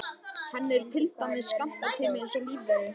Henni er til dæmis skammtaður tími eins og lífverum.